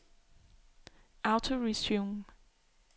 autoresume